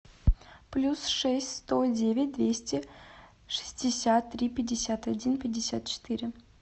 плюс шесть сто девять двести шестьдесят три пятьдесят один пятьдесят четыре